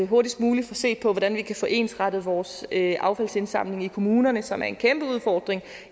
hurtigst muligt få set på hvordan vi kan få ensrettet vores affaldsindsamling i kommunerne som er en kæmpe udfordring